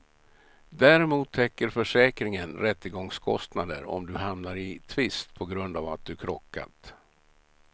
Däremot täcker försäkringen rättegångskostnader om du hamnar i tvist på grund av att du krockat.